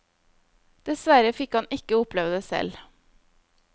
Dessverre fikk han ikke oppleve det selv.